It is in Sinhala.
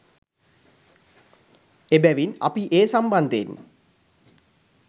එබැවින් අපි ඒ සම්බන්ධයෙන්